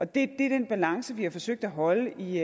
det er den balance vi har forsøgt at holde i